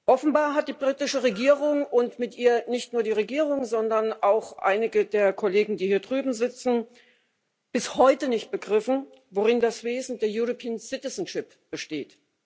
Offenbar hat die britische Regierung und mit ihr nicht nur die Regierung, sondern auch einige der Kollegen, die hier drüben sitzen bis heute nicht begriffen, worin das Wesen der European citizenship besteht.